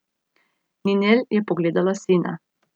Ninel je pogledala sina.